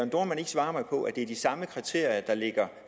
dohrmann ikke svare mig på om ikke det er de samme kriterier der ligger